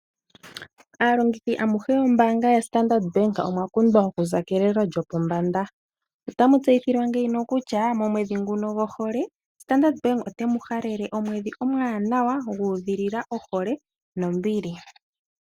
Aalongithi amuhe yombaanga yaStandard Bank omwa popithwa okuza kelelo lyopombanda. Otamu tseyithilwa ngeyi kutya, momwedhi nguno gohole Standard Bank otemu halele omwedhi omwaanawa gu udhilila ohole nombili.